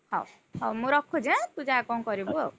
ହଉ, ହଉ ମୁଁ ରଖୁଛି ଆଁ ତୁ ଯା କଣ କରିବୁ ଆଉ।